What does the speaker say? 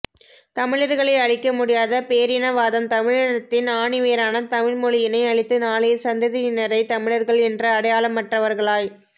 தமிழர்களை அழிக்க முடியாத பேரினவாதம் தமிழினத்தின் ஆணிவேரான தமிழ் மொழியினை அழித்து நாளைய சந்ததியினரை தமிழர்கள் என்ற அடையாளமற்றவர்களாய்